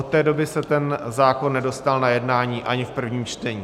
Od té doby se ten zákon nedostal na jednání ani v prvním čtení.